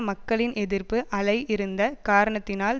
மக்களின் எதிர்ப்பு அலை இருந்த காரணத்தினால்